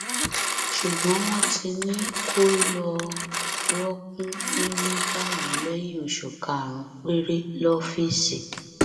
ṣùgbọn wọn ti ní kó lọọ rọọkùn nílẹ báyìí lẹyìn oṣù karùnún péré lọfíìsì